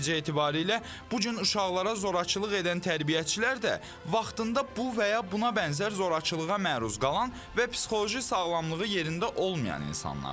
Nəticə etibarilə bu gün uşaqlara zorakılıq edən tərbiyəçilər də vaxtında bu və ya buna bənzər zorakılığa məruz qalan və psixoloji sağlamlığı yerində olmayan insanlardır.